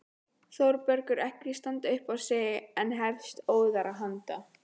Þórbergur ekki standa upp á sig en hefst óðara handa.